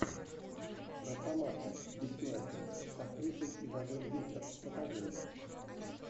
росомаха бессмертный с актрисой изабель юппер покажи мне